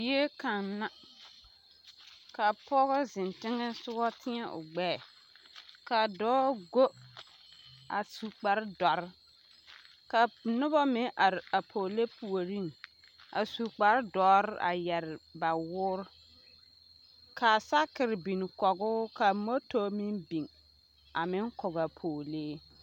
Zie kaŋa la kaa pɔge ziŋ teŋe tieŋ o gbɛɛ kaa dɔɔ gu a su kpare doɔre ka noba meŋ are pɔgelee puureŋ a su kpare doɔre a yɛre ba woɔre ka sakere biŋ kɔge o ka moto meŋ biŋ a meŋ kɔge a pɔgelee.